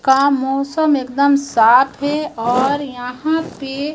का मौसम एकदम साफ है और यहां पे--